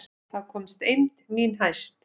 Þá komst eymd mín hæst.